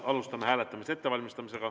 Alustame hääletamise ettevalmistamist.